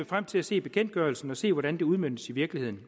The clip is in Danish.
frem til at se bekendtgørelsen og se hvordan det udmøntes i virkeligheden